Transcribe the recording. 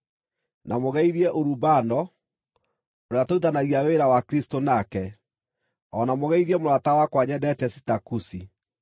Na mũgeithie Urubano, ũrĩa tũrutithanagia wĩra wa Kristũ nake, o na mũgeithie mũrata wakwa nyendete Sitakusi.